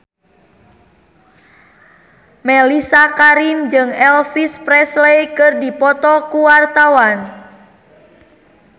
Mellisa Karim jeung Elvis Presley keur dipoto ku wartawan